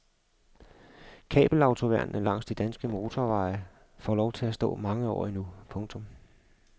Kabelautoværnene langs de danske motorveje får lov til at stå mange år endnu. punktum